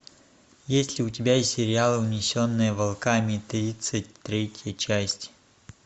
есть ли у тебя сериал унесенные волками тридцать третья часть